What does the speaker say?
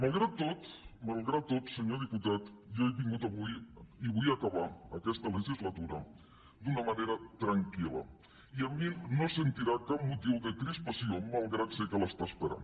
malgrat tot malgrat tot senyor diputat jo he vingut avui i vull acabar aquesta legislatura d’una manera tranquil·la i de mi no sentirà cap motiu de crispació malgrat que sé que l’està esperant